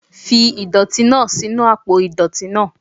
Fi idọti naa sinu apo idọti naa